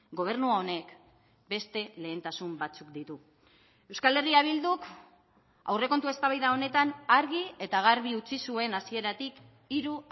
gobernu honek beste lehentasun batzuk ditu euskal herria bilduk aurrekontu eztabaida honetan argi eta garbi utzi zuen hasieratik hiru